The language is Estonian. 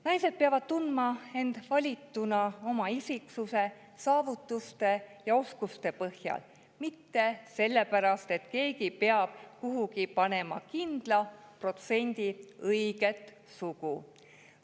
Naised peavad tundma, et valituks oma isiksuse, saavutuste ja oskuste põhjal, mitte selle pärast, et keegi peab kuhugi panema kindla protsendi õiget sugu.